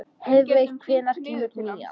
Heiðveig, hvenær kemur nían?